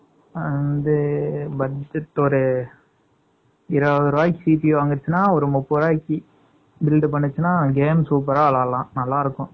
அந்த budget ஒரு, இருபது ரூபாய்க்கு, CBI வாங்குச்சுன்னா, ஒரு முப்பது ரூபாய்க்கு, build பண்ணுச்சுன்னா, game super ஆ விளையாடலாம்நல்லா இருக்கும்